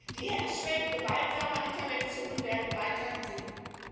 Die Hemmschwellen gewaltsamer Intervention werden weiterhin sinken.